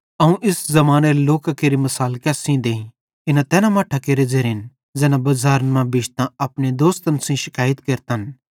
अवं इस ज़मानेरे लोकां केरि मिसाल केस सेइं देईं इना तैन मट्ठां केरे ज़ेरेन ज़ैना बज़ारन मां बिश्तां अपने दोसन सेइं शिकैयत केरतन